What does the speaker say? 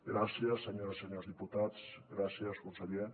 gràcies senyores i senyors diputats gràcies conseller